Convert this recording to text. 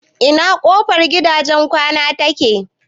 Ina kofar gidajen kwanan take?